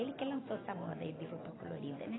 Ele que lançou essa moda aí de roupa colorida, né?